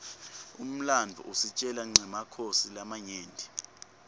umlandvo usitjela nqemakhosi lamanyenti